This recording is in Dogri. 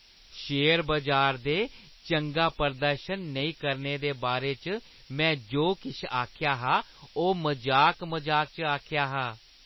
शेयर बजार दे चंगा प्रदर्शन नेईं करने दे बारे च में जो किश आखेआ हा, ओह् मजाक-मजाक च आखेआ हा।